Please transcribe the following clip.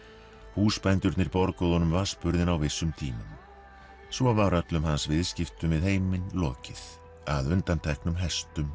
húsbændurnir borguðu honum á vissum tímum svo var öllum hans viðskiptum við heiminn lokið að undanteknum hestum